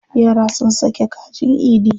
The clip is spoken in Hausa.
Yara sun sake kajin Idi.